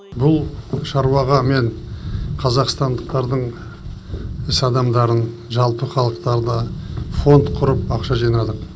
бұл шаруаға мен қазақстандықтардың іс адамдарын жалпы халықтарды фонд құрып ақша жинадық